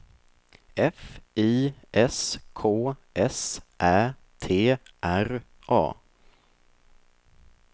F I S K S Ä T R A